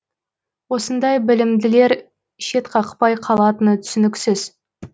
осындай білімділер шетқақпай қалатыны түсініксіз